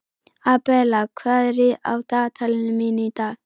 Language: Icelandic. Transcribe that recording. Abela, hvað er í dagatalinu mínu í dag?